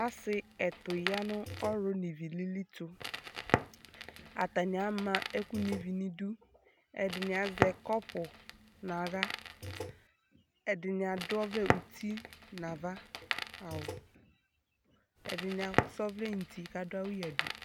Ɔsi ɛtu yanʋ ɔɣlu nivilili tuAtani ama ɛkʋ nuivi niduƐdini azɛ kɔpu naɣlaƐdini akɔ ɔvlɛ uti nava nawuƐdini asa ɔvlɛ nuti kadʋ awu yadu